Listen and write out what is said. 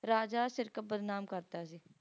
Raja Sirkap ਬਦਨਾਮ ਕਰਤਾ ਸੀ